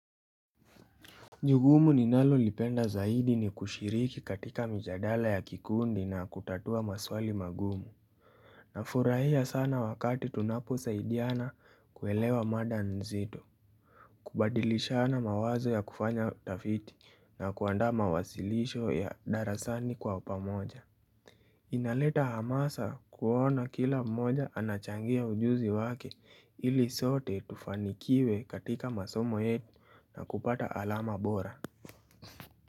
Jugumu ninalolipenda zaidi ni kushiriki katika mijadala ya kikundi na kutatua maswali magumu Nafurahia sana wakati tunapo saidiana kuwelewa mada nzito kubadilishana mawazo ya kufanya utafiti na kuanda mawasilisho ya darasani kwa upamoja Inaleta hamasa kuona kila mmoja anachangia ujuzi wake ili sote tufanikiwe katika masomo yetu na kupata alama bora.